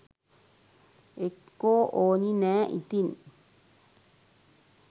එක්කෝ ඕනි නෑ ඉතින්